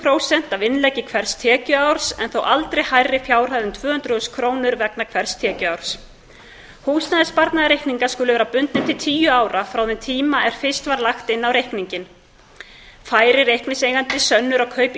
prósent af innleggi hvers tekjuárs en þó aldrei hærri fjárhæð en tvö hundruð þúsund krónur vegna hvers tekjuárs húsnæðissparnaðarreikningar skulu vera bundnir til tíu ára frá þeim tíma er fyrst var lagt inn á reikning færi reikningseigandi sönnur á kaup